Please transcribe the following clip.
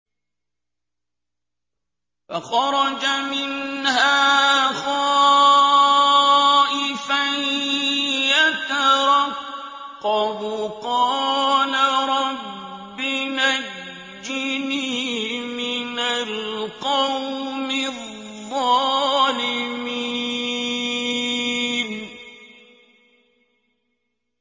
فَخَرَجَ مِنْهَا خَائِفًا يَتَرَقَّبُ ۖ قَالَ رَبِّ نَجِّنِي مِنَ الْقَوْمِ الظَّالِمِينَ